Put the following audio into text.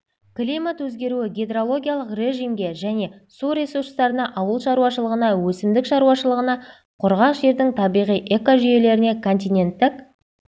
климат өзгеруі гидрологиялық режимге және су ресурстарына ауыл шаруашылығына өсімдік шаруашылығына құрғақ жердің табиғи экожүйелеріне континенттік